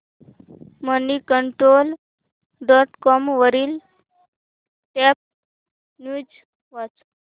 Moneycontrol dot com वरील top news वाच